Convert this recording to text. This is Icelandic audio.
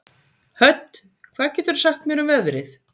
Hödd, hvað geturðu sagt mér um veðrið?